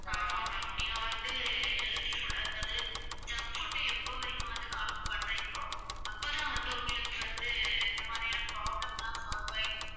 ஆமா ma'am நீங்க வந்து healthy food அதாவது junk food அ எப்போநீங்க வந்து கம்மி பண்றிங்களோ, அப்ப தான் வந்து உங்களுக்கு வந்து இந்த மாதிரியான problems எல்லாம் solve ஆகி